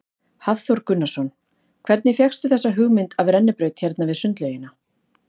Hafþór Gunnarsson: Hvernig fékkstu þessa hugmynd af rennibraut hérna við sundlaugina?